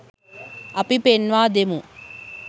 අපි පෙන්වා දෙමු